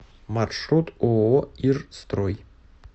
маршрут ооо ир строй